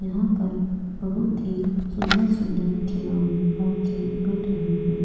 यहा पर बहुत ही सुंदर सुंदर खिलोने और खेल मिल रहे है।